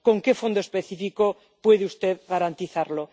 ¿Con qué fondo específico puede usted garantizarlo?